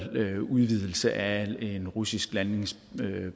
udvidelse af en russisk landingsbane